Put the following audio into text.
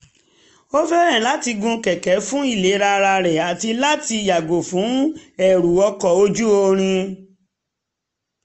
ó fẹ́ràn láti gun kẹ̀kẹ́ fún ìlera ara àti láti yàgò fún ẹrù ọkọ̀ ojú irin